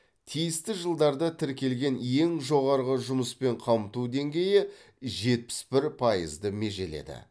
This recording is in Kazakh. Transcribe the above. тиісті жылдарда тіркелген ең жоғары жұмыспен қамту деңгейі жетпіс бір пайызды межеледі